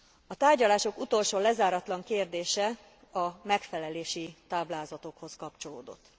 A tárgyalások utolsó lezáratlan kérdése a megfelelési táblázatokhoz kapcsolódott.